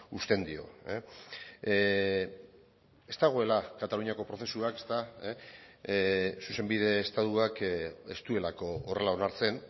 uzten dio ez dagoela kataluniako prozesuak zuzenbide estatuak ez duelako horrela onartzen